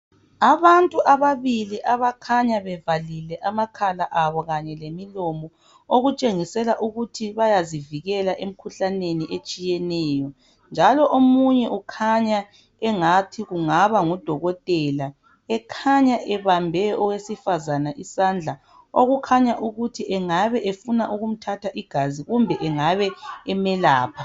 Abantu ababili abakhanya bevalile amakhala abo kanye lemilomo okutshengisela ukuthi bayazivikela emkhuhlaneni etshiyeneyo njalo omunye ukhanya engathi kungaba ngudokotela ekhanya ebambe owesifazana isandla okukhanya ukuthi engabe efuna ukumthatha igazi kumbe engabe emelapha.